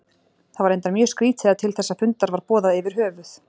Það var reyndar mjög skrýtið að til þessa fundar var boðað yfir höfuð.